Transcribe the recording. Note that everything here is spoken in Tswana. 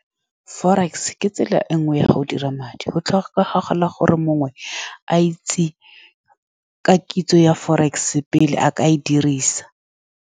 Forex ke tsela e nngwe ya go dira madi. Go tlhokagala gore mongwe a itse ka kitso ya forex pele a ka e dirisa.